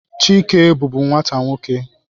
Chike bụbu nwata nwoke.